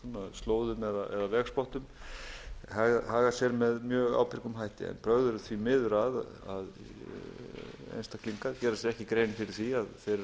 slóðum eða vegspottum haga sér með ég ábyrgum hætti en brögð eru því miður að að einstaklingar geri sér ekki grein fyrir því að þeir eru að